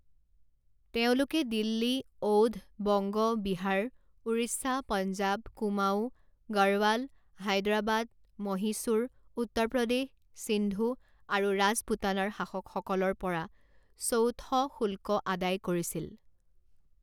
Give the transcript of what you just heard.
তেওঁলোকে দিল্লী, অউধ, বংগ, বিহাৰ, উৰিষ্যা, পঞ্জাৱ, কুমাওঁ, গড়ৱাল, হায়দৰাবাদ, মহীশূৰ, উত্তৰ প্ৰদেশ, সিন্ধু আৰু ৰাজপুতানাৰ শাসকসকলৰ পৰা চৌথ শুল্ক আদায় কৰিছিল।